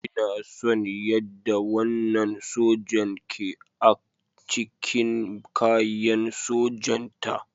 Ina son yadda wannan sojan ke ac cikin kayan sojanta.